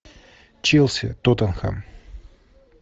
челси тоттенхэм